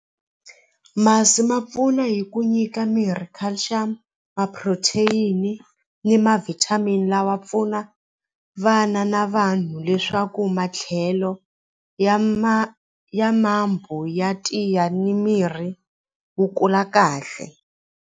Masi ma pfuna hi ku nyika mirhi culcium ma-protein ni ma-vitamin lawa pfuna vana na vanhu leswaku matlhelo ya ya ya tiya ni mirhi wu kula kahle.